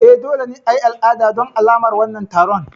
E, dole ne a yi al'ada don alamar wannan taron.